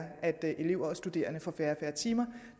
at elever og studerende får færre timer